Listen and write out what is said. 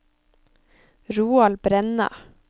Roald Brenna